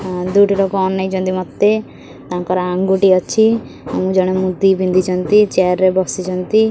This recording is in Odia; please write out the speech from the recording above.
ଦୁଇଟିର କଣ ନେଇଛନ୍ତି ମୋତେ ତାଙ୍କର ଆଙ୍ଗୁଠି ଅଛି ଅ ଜଣେ ମୁଦି ବି ପିନ୍ଧିଛନ୍ତି ଚେୟାର୍ ରେ ବସିଛନ୍ତି।